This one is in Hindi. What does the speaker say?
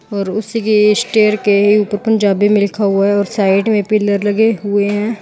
और उसी के स्टेयर के ऊपर पंजाबी में लिखा हुआ है और साइड में पिलर लगे हुए हैं।